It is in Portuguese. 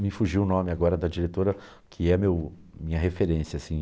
Me fugiu o nome agora da diretora, que é meu minha referência, assim.